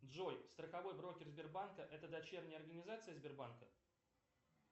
джой страховой брокер сбербанка это дочерняя организация сбербанка